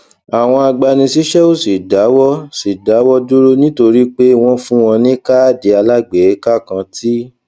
àwọn agbanisíṣé ò sì dáwó sì dáwó dúró nítorí pé wón fún wọn ní káàdì alágbèéká kan tí